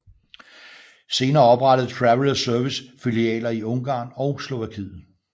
Senere oprettede Travel Service filialer i Ungarn og Slovakiet